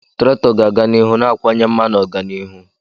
Traktọ ga-aga n'ihu na-akawanye mma na ọganihu.